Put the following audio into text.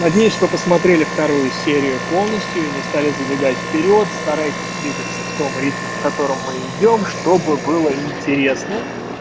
надеюсь что посмотрели вторую серию полностью и не стали забегать вперёд старайтесь двигаться в том ритме в котором мы идём чтобы было интересно